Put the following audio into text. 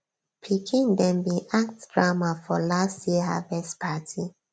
pikin dem bin act drama for last year harvest party